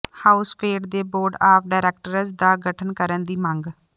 ਹਾਊਸਫੈਡ ਦੇ board of directors ਦਾ ਗਠਨ ਕਰਨ ਦੀ ਮੰਗ